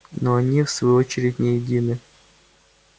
но и они в свою очередь не едины